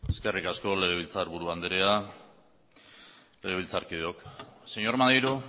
eskerrik asko legebiltzarburu andrea legebiltzarkideok señor maneiro